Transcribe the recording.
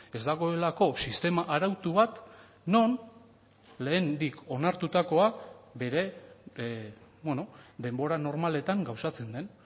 ez dagoelako sistema arautu bat non lehendik onartutakoa bere denbora normaletan gauzatzen den